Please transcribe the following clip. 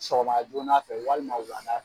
Sɔgɔma joona fɛ walima wulada fɛ